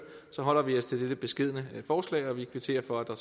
holder vi os til dette beskedne forslag og vi kvitterer for at der